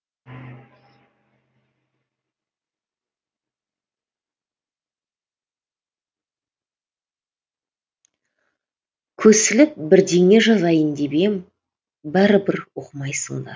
көсіліп бірдеңе жазайын деп едім бәрібір оқымайсыңдар